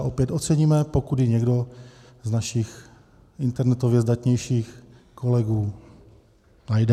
A opět oceníme, pokud ji někdo z našich internetově zdatnějších kolegů najde.